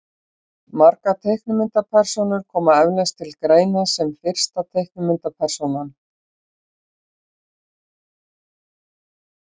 margar teiknimyndapersónur koma eflaust til greina sem fyrsta teiknimyndapersónan